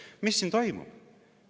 " Mis siin toimub?